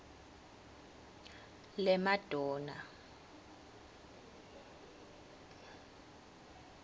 lemadonna